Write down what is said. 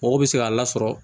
Mɔgɔ bɛ se k'a la sɔrɔ